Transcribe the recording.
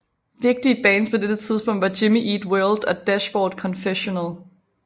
Vigtige bands på dette tidspunkt var Jimmy Eat World og Dashboard Confessional